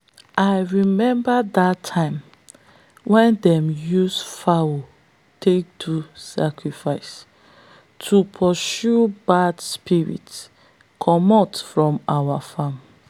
i remember that time when them use fowl take do sacrifice to pursue bad spirit comot from our farm.